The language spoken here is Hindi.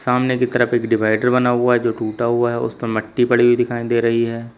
सामने की तरफ एक डिवाइडर बना हुआ है जो टूटा हुआ है उसपे मट्टी पड़ी हुई दिखाई दे रही है।